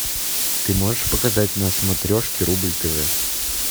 ты можешь показать на смотрешке рубль тв